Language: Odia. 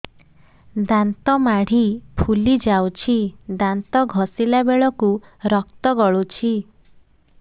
ଦାନ୍ତ ମାଢ଼ୀ ଫୁଲି ଯାଉଛି ଦାନ୍ତ ଘଷିଲା ବେଳକୁ ରକ୍ତ ଗଳୁଛି